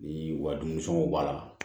Bi u ka dumunifɛnw b'a la